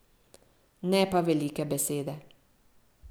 Ne pa velike besede.